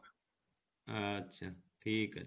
আচ্ছা ঠিক আছে